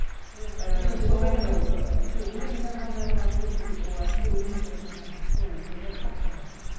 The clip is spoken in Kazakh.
иә өлең жазғандары бар өзі кейде өлең жазатын жаңағы сол нелері сақталған